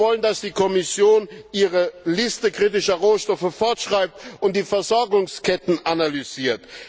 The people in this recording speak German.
Wir wollen, dass die Kommission ihre Liste kritischer Rohstoffe fortschreibt und die Versorgungsketten analysiert.